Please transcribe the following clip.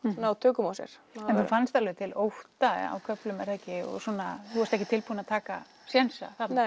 ná tökum á sér þú fannst alveg til ótta á köflum er það ekki þú varst ekki tilbúin að taka sénsa þarna